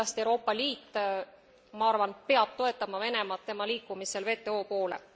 Ja kindlasti Euroopa Liit ma arvan peab toetama Venemaad tema liikumisel WTO poole.